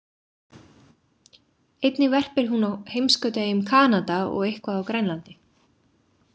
Einnig verpir hún á heimskautaeyjum Kanada og eitthvað á Grænlandi.